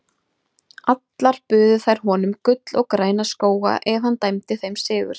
Allar buðu þær honum gull og græna skóga ef hann dæmdi þeim sigur.